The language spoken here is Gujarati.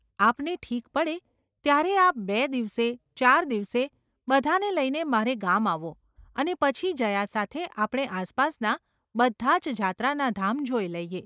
આપને ઠીક પડે ત્યારે આપ બે દિવસે, ચાર દિવસે, બધાને લઈને મારે ગામ આવો અને પછી જયા સાથે આપણે આસપાસનાં બધાં જ જાત્રાનાં ધામ જોઈ લઈએ.